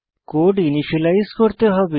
code initialize করতে হবে